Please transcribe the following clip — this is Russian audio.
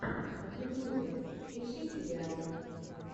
в ютюбе ищи сериалы